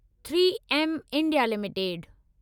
3एम India limited